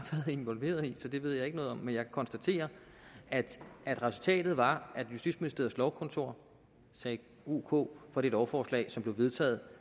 involveret i så det ved jeg ikke noget om men jeg konstaterer at at resultatet var at justitsministeriet lovkontor sagde ok for det lovforslag som blev vedtaget